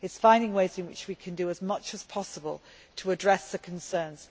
It is about finding ways in which we can do as much as possible to address the concerns.